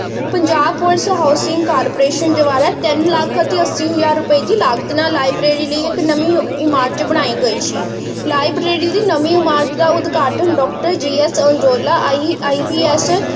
Punjab police housing corporation ਦੁਵਾਰਾ ਤੀਨ ਲੱਖ ਅਸੀਂ ਹਜ਼ਾਰ ਰੁਪਏ ਦੀ ਲਾਗਤ ਨਾਲ library ਲਈ ਇੱਕ ਨਵੀਂ ਇਮਾਰਤ ਬਨਾਈ ਗਈ ਸੀ library ਦੀ ਨਵੀਂ ਇਮਾਰਤ ਦਾ ਉਦਘਾਟਨ doctor G. S. Ajnola I. P. S.